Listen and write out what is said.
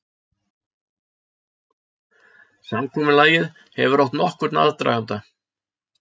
Samkomulagið hefur átt nokkurn aðdraganda